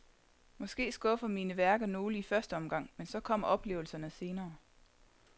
Måske skuffer mine værker nogle i første omgang, men så kommer oplevelserne senere.